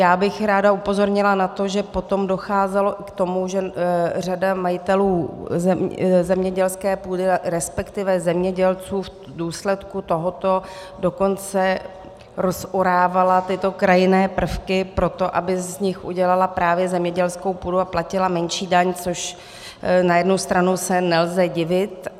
Já bych ráda upozornila na to, že potom docházelo k tomu, že řada majitelů zemědělské půdy, respektive zemědělců, v důsledku tohoto dokonce rozorávala tyto krajinné prvky proto, aby z nich udělala právě zemědělskou půdu a platila menší daň, což na jednu stranu se nelze divit.